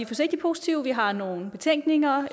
forsigtigt positive vi har nogle betænkeligheder